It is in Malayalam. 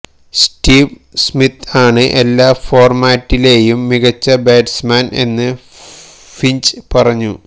സ്റ്റീവ് സ്മിത്ത് ആണ് എല്ലാ ഫോര്മാറ്റിലേയും മികച്ച ബാറ്റ്സ്മാന് എന്ന് ഫിഞ്ച് പറഞ്ഞു